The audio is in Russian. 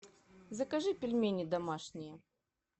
закажи пельмени домашние